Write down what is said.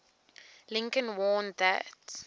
lincoln warned that